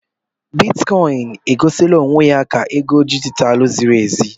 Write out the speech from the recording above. Bitikọin e gosila onwe ya ka ego dijitalụ ziri ezi.